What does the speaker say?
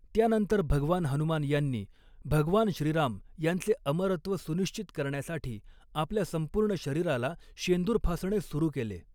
त्यानंतर भगवान हनुमान यांनी, भगवान श्रीराम यांचे अमरत्व सुनिश्चित करण्यासाठी आपल्या संपूर्ण शरीराला शेंदूर फासणे सुरू केले.